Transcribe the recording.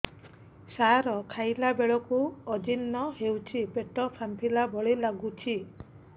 ସାର ଖାଇଲା ବେଳକୁ ଅଜିର୍ଣ ହେଉଛି ପେଟ ଫାମ୍ପିଲା ଭଳି ଲଗୁଛି